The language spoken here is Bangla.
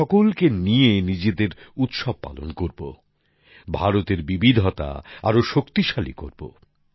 আমরা সকলকে সঙ্গে নিয়ে নিজেদের উৎসব পালন করবো ভারতের বৈচিত্রকে আরও শক্তিশালী করবো